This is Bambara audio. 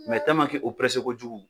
Mɛ tɛliman ke o perese kojugu